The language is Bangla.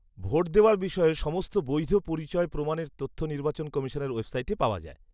ভোট দেওয়ার বিষয়ে সমস্ত বৈধ পরিচয় প্রমাণের তথ্য নির্বাচন কমিশনের ওয়েবসাইটে পাওয়া যায়।